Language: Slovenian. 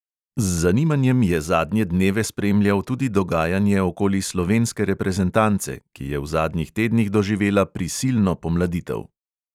Z zanimanjem je zadnje dneve spremljal tudi dogajanje okoli slovenske reprezentance, ki je v zadnjih tednih doživela "prisilno" pomladitev.